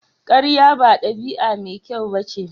Karya ba dabi'a mai kyau ba ce.